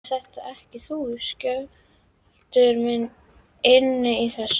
Ert þetta ekki þú, Skjöldur minn, inni í þessu?